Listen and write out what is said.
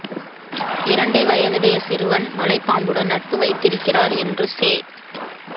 இரண்டே வயதுடைய சிறுவன் மலைப் பாம்புடன் நட்பு வைத்திருக்கிறார் என்று செ